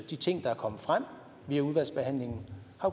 de ting der er kommet frem i udvalgsbehandlingen